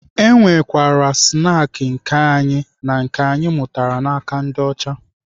E nwekwara snaakị nke anyị na nke anyị mụtara n'aka ndị ọcha.